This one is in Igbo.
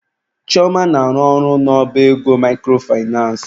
Chioma na-arụ ọrụ n'ọba ego microfinace.